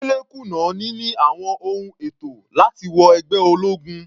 Dele kùnà níní àwọn ohun ètò láti wọ ẹgbẹ́ ológun.